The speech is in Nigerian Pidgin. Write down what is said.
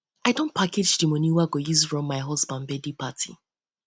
i don package di moni wey i go use run my husband birthday party